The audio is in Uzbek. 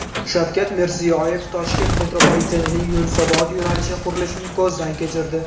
Shavkat Mirziyoyev Toshkent metropolitenining Yunusobod yo‘nalishi qurilishini ko‘zdan kechirdi.